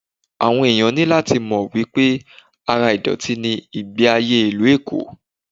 Àwọn ẹ̀yàn ní láti mọ̀ wípé ara ìdọ̀tí ni ìgbẹ́ ayé ìlú Èkó.